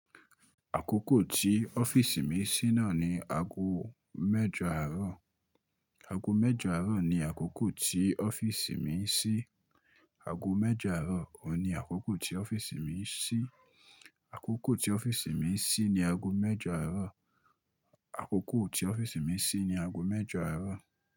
Àkókò tí ọ́fíìsì mi ṣí náà ni aago mẹ́jọ àárọ̀. Àgo mẹ́jọ àárọ̀ ni àkókò tó ọ́fíìsì mi ṣí tí ọ́fíìsì mi ṣí ni aago mẹ́jọ àárọ̀. Àkókò tí ọ́fíìsì mi ṣí ni ago mẹ́jọ àárọ̀.